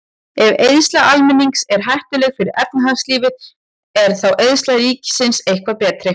Ef eyðsla almennings er hættuleg fyrir efnahagslífið, er þá eyðsla ríkisins eitthvað betri?